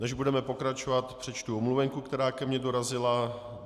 Než budeme pokračovat, přečtu omluvenku, která ke mně dorazila.